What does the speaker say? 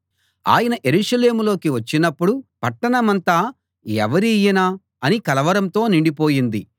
ఆయన యెరూషలేములోకి వచ్చినప్పుడు పట్టణమంతా ఎవరీయన అని కలవరంతో నిండిపోయింది